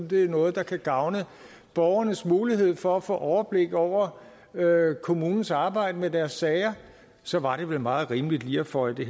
det er noget der kan gavne borgernes mulighed for at få overblik over kommunens arbejde med deres sager så var det vel meget rimeligt lige at føje det